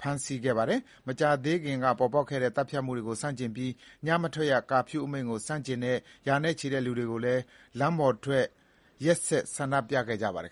ဖမ်းဆီးလိုက်ပါတယ်။ မကြာသေးခင်က ပေါ်ပေါက်ခဲ့တဲ့ သတ်ဖြတ်မှုတွေကို ဆန့်ကျင်ပြီး ညမထွက်ရ ကာဖြူးအမိန့်ကို ဆန့်ကျင်တဲ့ ရာနဲ့ချီတဲ့ လူတွေကလည်း လမ်းပေါ်ထွက်ပြီး နေ့စဥ်ဆန္ဒပြခဲ့ကြပါတယ်